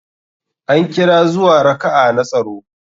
An kira zuwa raka'a na tsaro.